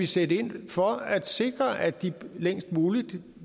sætte ind for at sikre at de længst muligt